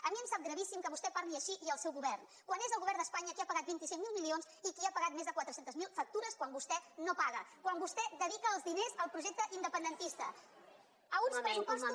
a mi em sap gravíssim que vostè parli així i el seu govern quan és el govern d’espanya qui ha pagat vint cinc mil milions i qui ha pagat més de quatre cents miler factures quan vostè no paga quan vostè dedica els diners al projecte independentista a uns pressupostos